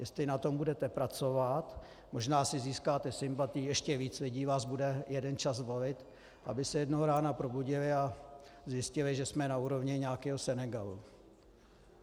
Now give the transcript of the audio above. Jestli na tom budete pracovat, možná si získáte sympatie, ještě víc lidí vás bude jeden čas volit, aby se jednoho rána probudili a zjistili, že jsme na úrovni nějakého Senegalu.